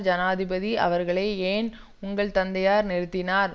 ஜனாதிபதி அவர்களே ஏன் உங்கள் தந்தையார் நிறுத்தினார்